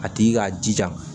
A tigi k'a jija